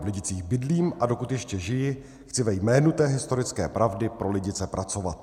V Lidicích bydlím, a dokud ještě žiji, chci ve jménu té historické pravdy pro Lidice pracovat.